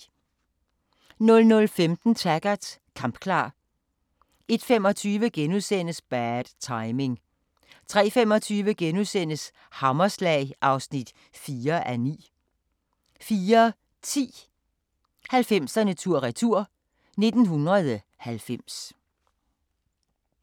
00:15: Taggart: Kampklar 01:25: Bad Timing * 03:25: Hammerslag (4:9)* 04:10: 90'erne tur-retur: 1990